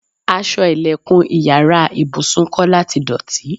Aṣọ ìlẹ̀kùn ìyára ibùsùn Kọ́lá ti dọ̀tí.